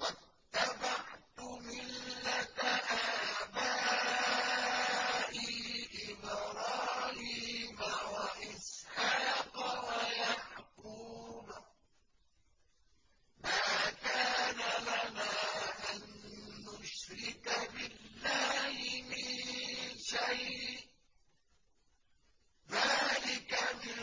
وَاتَّبَعْتُ مِلَّةَ آبَائِي إِبْرَاهِيمَ وَإِسْحَاقَ وَيَعْقُوبَ ۚ مَا كَانَ لَنَا أَن نُّشْرِكَ بِاللَّهِ مِن شَيْءٍ ۚ ذَٰلِكَ مِن